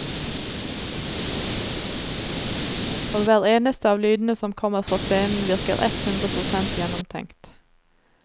Og hver eneste av lydene som kommer fra scenen virker ett hundre prosent gjennomtenkt.